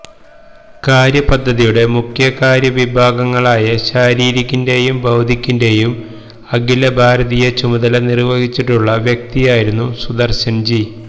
കാര്യപദ്ധതിയുടെ മുഖ്യകാര്യവിഭാഗങ്ങളായ ശാരീരിക്കിന്റേയും ബൌദ്ധിക്കിന്റേയും അഖിലഭാരതീയ ചുമതല നിര്വഹിച്ചിട്ടുള്ള വ്യക്തിയായിരുന്നു സുദര്ശന്ജി